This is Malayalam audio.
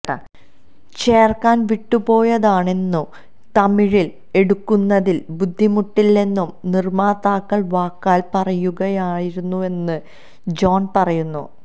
ചേർക്കാൻ വിട്ടുപോയതാണെന്നും തമിഴിൽ എടുക്കുന്നതിൽ ബുദ്ധിമുട്ടില്ലെന്നും നിർമാതാക്കൾ വാക്കാൽ പറയുകയായിരുന്നുവെന്ന് ജോൺ പറയുന്നു